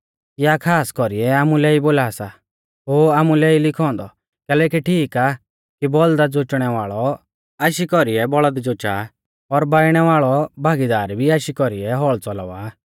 या खास कौरीऐ आमुलै ई बोला सा ओ आमुलै ई लिखौ औन्दौ कैलैकि ठीक आ कि बौल़दा जोचणै वाल़ौ आशी कौरीऐ बौल़द जोचा और बाइणै वाल़ौ भागीदार भी आशी कौरीऐ हौल़ च़लावा